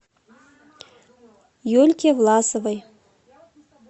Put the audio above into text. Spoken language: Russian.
юльке власовой